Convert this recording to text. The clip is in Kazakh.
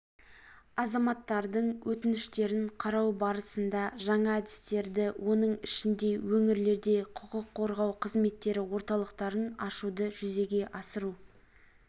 азаматтардың өтініштерін қарау барысында жаңа әдістерді оның ішінде өңірлерде құқық қорғау қызметтері орталықтарын ашуды жүзеге асыру